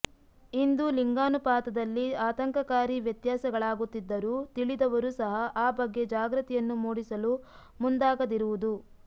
ಇಂದು ಲಿಂಗಾನುಪಾತದಲ್ಲಿ ಆತಂಕಕಾರಿ ವೆತ್ಯಾಸಗಳಾಗುತ್ತಿದ್ದರೂ ತಿಳಿದವರೂ ಸಹ ಆ ಬಗ್ಗೆ ಜಾಗೃತಿಯನ್ನು ಮೂಡಿಸಲು ಮುಂದಾಗದಿರುವುದು